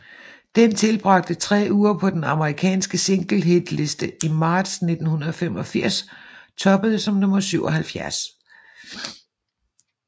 Den tilbragte tre uger på den amerikanske singlehitliste i marts 1985 toppede som nummer 77